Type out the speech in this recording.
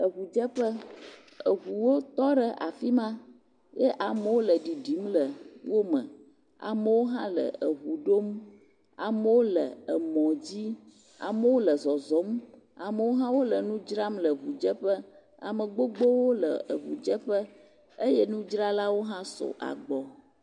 Ŋudzeƒe, ŋuwo tɔ ɖe afi ma ye amewo le ɖiɖim le wo me. Amewo hã le ŋu ɖom. Amewo le mɔ dzi, amewo le zɔzɔm, amewo hã wole nu dzram le ŋudzeƒe. Ame gbogbowo le ŋudzeƒe eye nudzralawo hã sugbɔ.